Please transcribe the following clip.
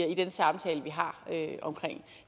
i den samtale vi har omkring